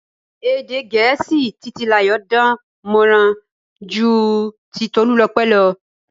Èdè Gẹ̀ẹ́sì Titilayo dán mọran ju ti Tolulope lọ.